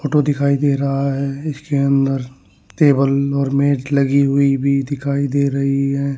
Photo दिखाई दे रहा है इसके अंदर टेबल और मेज लगी हुई भी दिखाई दे रही है।